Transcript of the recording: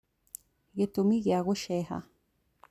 Gĩtũmi gĩa gũceeha